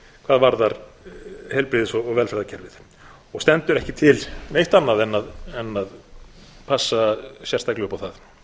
hvað varðar heilbrigðis og velferðarkerfið og stendur ekki til neitt annað en að passa sérstaklega upp á það